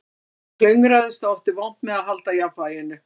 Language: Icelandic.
Ég klöngraðist og átti vont með að halda jafnvæginu